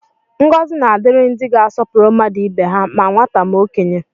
Ngọzi na-adịrị ndị ga-asọpụrụ mmadụ ibe ha, ma nwata ma okenye